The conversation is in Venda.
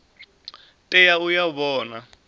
tea u ya u vhona